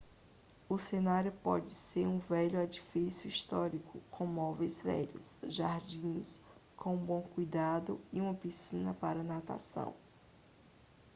o cenário pode ser um velho edifício histórico com móveis velhos jardins com um bom cuidado e uma piscina para natação